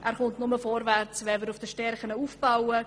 Er kommt nur vorwärts, wenn man auf den Stärken aufbaut.